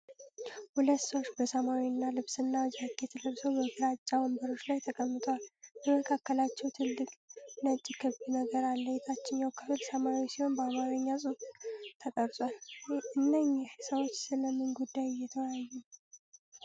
ሁለት ሰዎች በሰማያዊ ልብስና ጃኬት ለብሰው በግራጫ ወንበሮች ላይ ተቀምጠዋል። በመካከላቸው ትልቅ ነጭ ክብ ነገር አለ። ታችኛው ክፍል ሰማያዊ ሲሆን በአማርኛ ጽሑፍ ተቀርጿል። እነኚህ ሰዎች ስለ ምን ጉዳይ እየተወያዩ ነው?